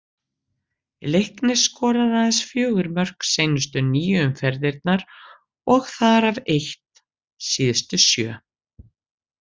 Leiknir skoraði aðeins fjögur mörk seinustu níu umferðirnar og þar af eitt síðustu sjö.